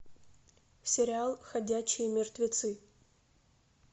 сериал ходячие мертвецы